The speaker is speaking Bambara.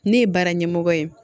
Ne ye baara ɲɛmɔgɔ ye